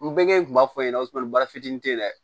N bɛɛ kun b'a fɔ ɲɛna baara fitinin te yen dɛ